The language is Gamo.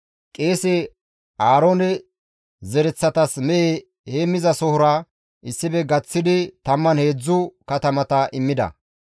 Qeese Aaroone zereththatas mehe heenththasohora issife gaththidi 13 katamata immida.